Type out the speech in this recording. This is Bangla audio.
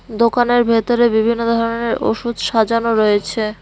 দোকানের ভেতরে বিভিন্ন ধরনের ওষুধ সাজানো রয়েছে।